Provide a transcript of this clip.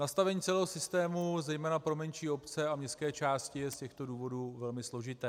Nastavení celého systému zejména pro menší obce a městské části je z těchto důvodů velmi složité.